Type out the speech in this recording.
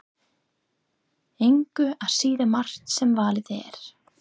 Engu að síður margt sem valið er.